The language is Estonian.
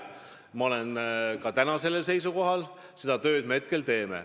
Ma olen kindlalt sellel seisukohal ja seda tööd me ka teeme.